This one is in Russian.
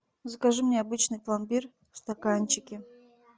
закажи мне обычный пломбир в стаканчике